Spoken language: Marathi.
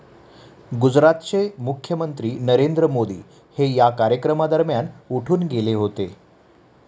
गुजरातचे मुख्यमंत्री नरेंद्र मोदी हे या कार्यक्रमादरम्यान उठून गेले होते.